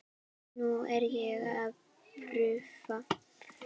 Nú er ég í prufum.